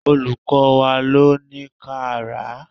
Olùkọ́ wá ló ní ká rà á.